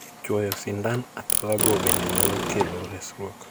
Chuoyo sindan athola go bende nyalo kelo resruok.